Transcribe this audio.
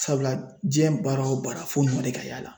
Sabula diɲɛ baara o baara fo ɲuman de ka y'a la .